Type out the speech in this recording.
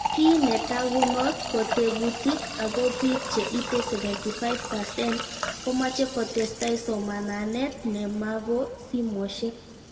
Kiy netakunot ko teputik, ako pik che ite 75% komache kotestai somananet nemapo simoshek